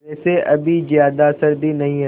वैसे अभी ज़्यादा सर्दी नहीं है